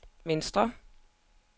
venstre